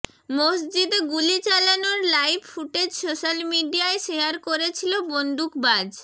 মসজিদে গুলি চালানোর লাইভ ফুটেজ সোশ্যাল মিডিয়ায় শেয়ার করেছিল বন্দুকবাজ